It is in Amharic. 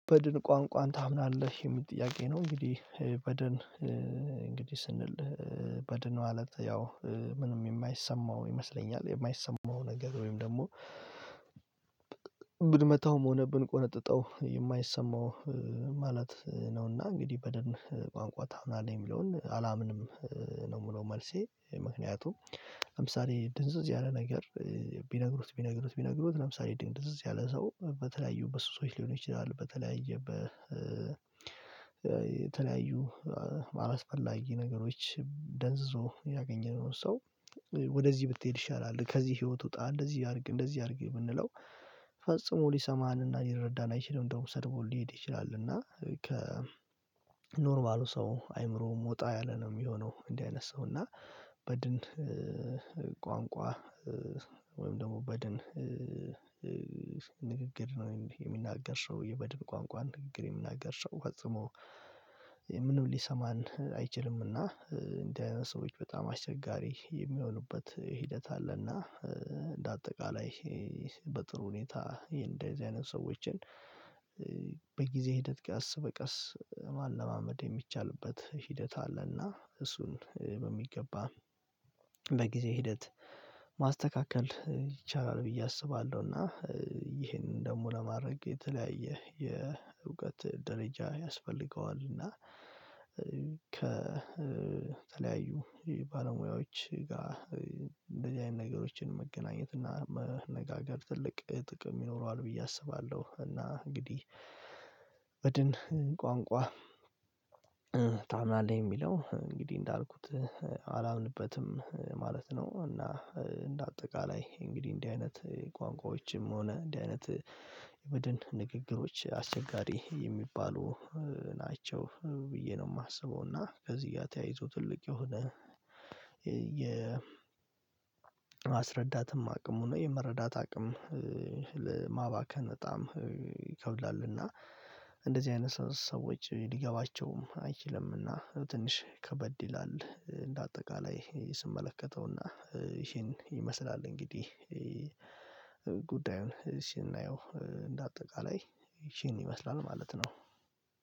በድን ቋንቋን ታምናለህ የሚል ጥያቄ ነው? እንግዲህ በድን እንግዲህ ስንል በድን ማለት ያው ምንም የማይሰማው ይመስለኛል የማይሰማው ነገር ወይም ደግሞ ብንመታውም ሆነ ብንቆነጥጠው የማይሰማው ማለት ነውና። እንግዲህ በደንብ ቋንቋ ታምናለህ የሚለውን አላምንም ነው የምለው መልሴ ምክንያቱም ለምሳሌ ድንዝዝ ያለ ነገር ቢነግሩት ቢነግሩት ቢነግሩት ለምሳሌ ድንዝዝ ያለ ሰው በተለያዩ በሱ ሰዎች ሊሆኑ ይችላሉ በተለያየ በ የተለያዩ አላስፈላጊ ነገሮች ደንዝዞ ያገኘነው ሰው ወደዚህ ብትሄድ ይሻላል ከዚህ ህይወት ውጣ እንደዚህ አድርግ እንደዚህ አድርግ የምንለው ፈጽሞ ሊሰማንና ሊረዳን አይችልም። እንደውም ሰድቦ ሊሄድ ይችላል እና ከኖርማሉ ሰው አእምሮ ወጣ ያለ ነው የሚሆነው እንዲህ አይነት ሰው እና በድን ቋንቋ ወይም ደግሞ በድን ንግግር ነው የሚናገር ሰው የበድን ቋንቋ ንግግር የሚናገር ፈጽሞ ምንም ሊሰማን አይችልምና። እንደ ሰዎች በጣም አስቸጋሪ የሚሆኑበት ሂደት አለና እንደ አጠቃላይ በጥሩ ሁኔታ እንደዚህ አይነት ሰዎችን በጊዜ ሂደት ቀስ በቀስ ማለማመድ የሚቻልበት ሂደት አለና እሱን በሚገባ ለጊዜ ሂደት ማስተካከል ይቻላል ብዬ አስባለሁ። እና ይሄንን ደግሞ ለማድረግ የተለያየ የእውቀት ደረጃ ያስፈልገዋል እና ከተለያዩ ባለሙያዎች ጋር እንደዚህ አይነት ነገሮችን መገናኘት እና መነጋገር ትልቅ ጥቅም ይኖረዋል ብዬ አስባለሁ። እና እንግዲህ በድን ቋንቋ ታምናለኝ የሚለው እንግዲህ እንዳልኩት አላምንበትም ማለት ነው። እና እንደ አጠቃላይ እንግዲህ እንዲህ አይነት ቋንቋዎችም ሆነ እንዲህ አይነት የቡድን ንግግሮች አስቸጋሪ የሚባሉ ናቸው ብዬ ነው የማስበው እና ከዚህ ጋር ተያይዞ ትልቅ የሆነ የ የማስረዳትም አቅሙ ነው የመረዳት አቅም ለማባከን በጣም ይከብዳል። እና እንደዚህ አይነት ሰዎች ሊገባቸውም አይችልም እና ትንሽ ከበድ ይላል እንደ አጠቃላይ ስመለከተውና ይሄን ይመስላል እንግዲህ ጉዳዩን እሺ እናየው እንደ አጠቃላይ ይቺን ይመስላል ማለት ነው።